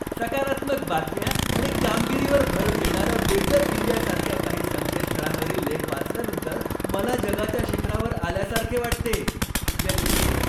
सकारात्मक बातम्या आणि कामगिरीवर भर देणाऱ्या 'बेटर इंडिया' सारख्या काही संकेतस्थळांवरील लेख वाचल्यानंतर मला जगाच्या शिखरावर आल्यासारखे वाटते. व्यक्ती एक